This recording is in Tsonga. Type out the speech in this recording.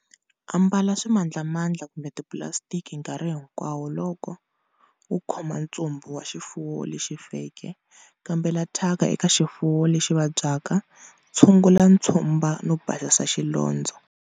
Ambala swimandlamandla kumbe tipulasitiki nkarhi hinkwawo loko-u khoma ntsumbu wa xifuwo lexi feke, kambela thyaka eka xifuwo lexi vabyaka, tshungula ntshumba no basisa xilondzo.